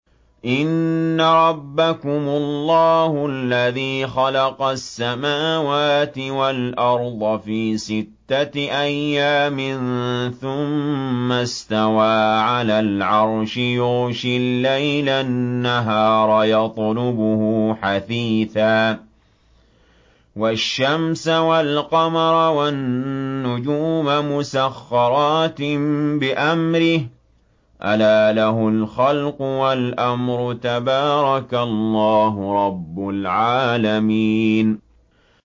إِنَّ رَبَّكُمُ اللَّهُ الَّذِي خَلَقَ السَّمَاوَاتِ وَالْأَرْضَ فِي سِتَّةِ أَيَّامٍ ثُمَّ اسْتَوَىٰ عَلَى الْعَرْشِ يُغْشِي اللَّيْلَ النَّهَارَ يَطْلُبُهُ حَثِيثًا وَالشَّمْسَ وَالْقَمَرَ وَالنُّجُومَ مُسَخَّرَاتٍ بِأَمْرِهِ ۗ أَلَا لَهُ الْخَلْقُ وَالْأَمْرُ ۗ تَبَارَكَ اللَّهُ رَبُّ الْعَالَمِينَ